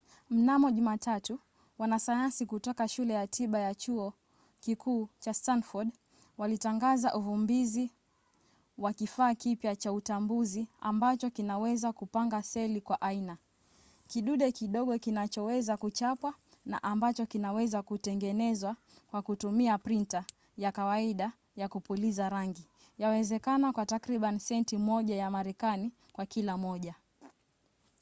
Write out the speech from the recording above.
mnamo jumatatu wanasayansi kutoka shule ya tiba ya chuo kikuu cha stanford walitangaza uvumbuzi wa kifaa kipya cha utambuzi ambacho kinaweza kupanga seli kwa aina: kidude kidogo kinachoweza kuchapwa na ambacho kinaweza kutengenezwa kwa kutumia printa ya kawaida ya kupuliza rangi yawezekana kwa takribani senti moja ya marekani kwa kila moja